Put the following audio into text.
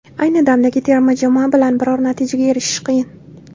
Ayni damdagi terma jamoa bilan biror natijaga erishish qiyin.